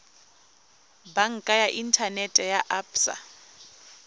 banka ya inthanete ya absa